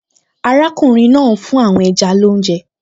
Arákùnrin náà ń fún àwọn ẹja lóúnjẹ